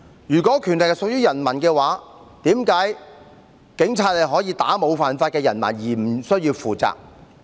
如果權力屬於人民，為何警察可以打沒有犯法的人民而無須負責？